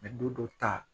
don dɔ ta